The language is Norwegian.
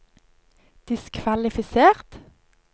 diskvalifisert